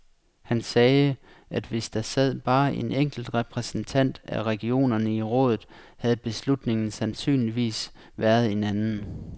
Han sagde, at hvis der sad bare en enkelt repræsentant af regionerne i rådet, havde beslutningen sandsynligvis været en anden.